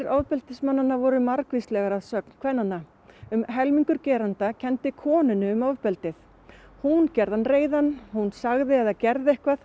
ofbeldismannanna voru margvíslegar að sögn kvennanna um helmingur gerenda kenndi konunni um ofbeldið hún gerði hann reiðan hún segði eða gerði eitthvað